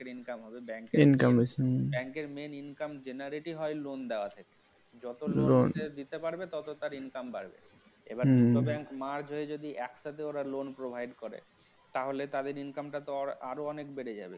bank র হবে bank র bank র main income হয় generate হই loan দেওয়াতে যত loan দিতে পারবে তত তার income বাড়বে এবার দুটো bank merge হয়ে যদি একসাথে ওরা loan provide করে তাহলে তাদের income টা তো আরো অনেক বেড়ে যাবে